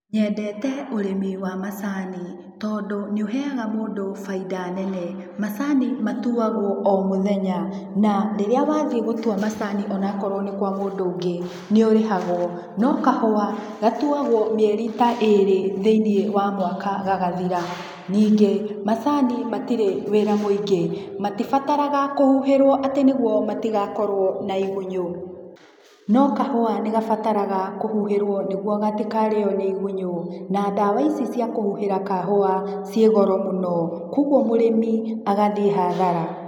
Nyendete ũrĩmi wa macani, tondũ nĩ ũheaga mũndũ faida nene. Macani matuagwo o mũthenya, na rĩrĩa wa thiĩ gũtua macani o na korwo nĩ kwa mũndũ ũngĩ, nĩ ũrĩhagwo. No kahũa, gatuagwo mĩeri ta erĩ thĩinĩ wa mwaka gagathira. Ningĩ, macani matirĩ wĩra mũingĩ. Matibataraga kũhuhĩrwo atĩ nĩguo matigakorwo na igunyũ. No kahũa nĩ gabataraga kũhuhĩrwo nĩguo gatikarĩo nĩ igunyũ. Na ndawa ici cia kũhuhĩra kahũa ciĩ goro mũno, kwoguo mũrĩmi agathiĩ hathara.